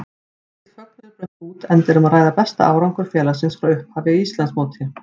Mikill fögnuður braust út enda um að ræða besta árangur félagsins frá upphafi í Íslandsmóti.